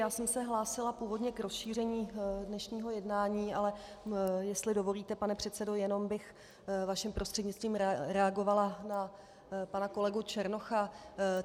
Já jsem se hlásila původně k rozšíření dnešního jednání, ale jestli dovolíte, pane předsedo, jenom bych vaším prostřednictvím reagovala na pana kolegu Černocha.